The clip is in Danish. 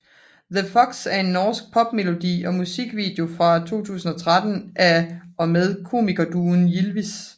The Fox er en norsk popmelodi og musikvideo fra 2013 af og med komikerduoen Ylvis